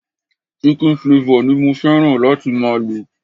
Chicken flavor ni mo fẹ́ràn láti máa lo.